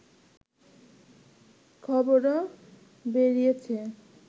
খবরও বেরিয়েছে